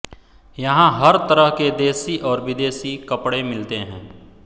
यहां हर तरह के देशी और विदेशी कपडे़ मिलते हैं